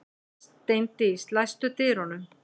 Steindís, læstu útidyrunum.